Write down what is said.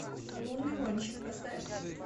лунный гонщик поставь